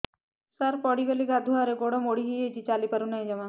ସାର ପଡ଼ିଗଲି ଗାଧୁଆଘରେ ଗୋଡ ମୋଡି ହେଇଯାଇଛି ଚାଲିପାରୁ ନାହିଁ ଜମା